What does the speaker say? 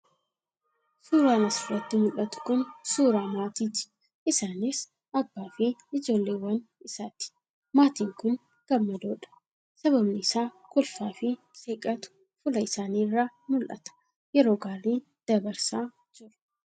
suuraan as irratti mul'atu kun suuraa maatii ti. isaanis, Abbaa fi ijoolleewwan isaati. maatiin kun gammadoo dha. Sababni isaa, kolfaa fi seeqatu fuula isaanii irraa mul'ata. yeroo gaarii dabarsaa jiru.